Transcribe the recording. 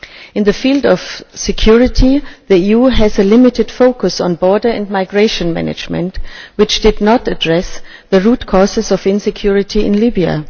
In the field of security the EU has a limited focus on border and migration management which did not address the root causes of insecurity in Libya.